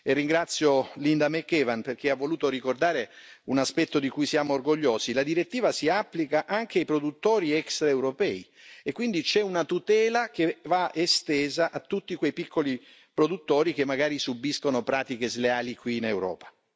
Ringrazio Linda McAvan, perché ha voluto ricordare un aspetto di cui siamo orgogliosi la direttiva si applica anche ai produttori extraeuropei e quindi la tutela viene estesa a tutti quei piccoli produttori che magari subiscono pratiche sleali qui in Europa.